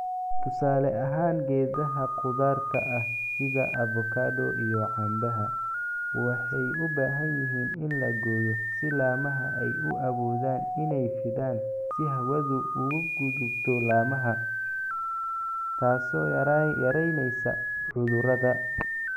"Tusaale ahaan geedaha khudaarta ah (sida avocado iyo canbaha) waxay u baahan yihiin in la gooyo si laamaha ay u awoodaan inay fidaan si hawadu uga gudubto laamaha, taasoo yaraynaysa cudurrada."